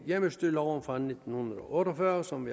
hjemmestyreloven fra nitten otte og fyrre som